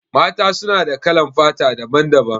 Mata su na da kalan fata daban-daban.